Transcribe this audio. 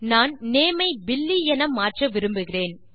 நான் நேம் ஐ பில்லி என மாற்ற விரும்புகிறேன்